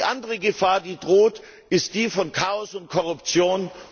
Die andere Gefahr, die droht, ist die von Chaos und Korruption.